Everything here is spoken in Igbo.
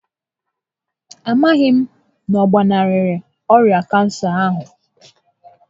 A maghị m na ọ gbanarịrị ọrịa kansa ahụ